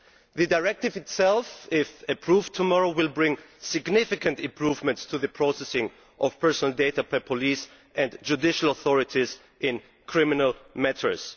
The directive itself, if approved tomorrow, will bring significant improvements to the processing of personal data by police and judicial authorities in criminal matters.